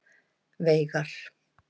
Veigar